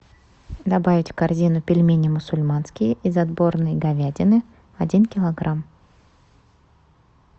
добавить в корзину пельмени мусульманские из отборной говядины один килограмм